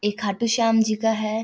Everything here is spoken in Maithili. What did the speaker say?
ये खाटु श्याम जी का है।